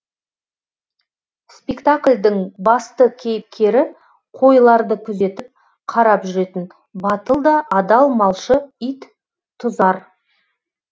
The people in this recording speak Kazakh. спектаклдің басты кейіпкері қойларды күзетіп қарап жүретін батыл да адал малшы ит тұзар